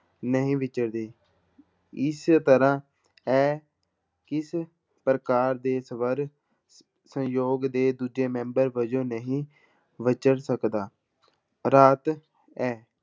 ਨਹੀਂ ਵਿਚਰਦੇ, ਇਸ ਤਰ੍ਹਾਂ ਇਹ ਕਿਸ ਪ੍ਰਕਾਰ ਦੇ ਸਵਰ ਸਯੋਗ ਦੇ ਦੂਜੇ ਮੈਂਬਰ ਵਜੋਂ ਨਹੀਂ ਵਿਚਰ ਸਕਦਾ, ਰਾਤ